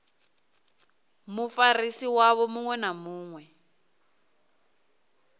mufarisi wavho muṅwe na muṅwe